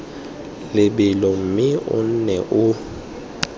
lebelo mme o nne o